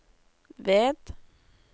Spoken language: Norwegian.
ved